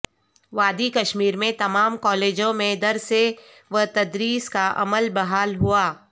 وادی کشمیر میں تمام کالجوں میں درس وتدریس کا عمل بحال ہوا